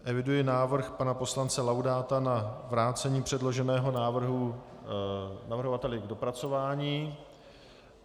Eviduji návrh pana poslance Laudáta na vrácení předloženého návrhu navrhovateli k dopracování.